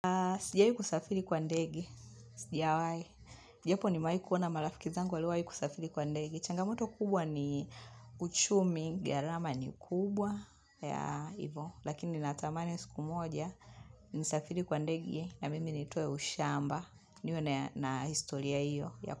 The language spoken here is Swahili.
Sijai kusafiri kwa ndege. Sijawahi. Japo nimewahikuwa na marafiki zangu waliowahi kusafiri kwa ndege. Changamoto kubwa ni uchumi. Gharama ni kubwa. Ya ivo. Lakini natamani siku moja. Nisafiri kwa ndege. Na mimi nitoe ushamba. Niwe na historia iyo.